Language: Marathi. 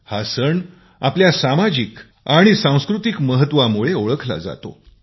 हा सण आपल्या सामाजिक आणि सांस्कृतिक महत्वामुळे ओळखला जातो